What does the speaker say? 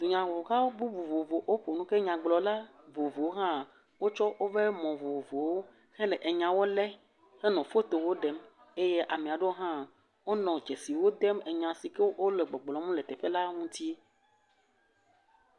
Nyagblɔha vovovowo ƒo nu. Ke nyagblɔla vovowo hã wotsɔ woƒe mɔ̃ vovovowo hele nyawo lé hele fotowo ɖem. Eye ame aɖewo hã wonɔ dzesiwo dem enya si ke wole gbɔgblɔm le teƒe la ŋuti.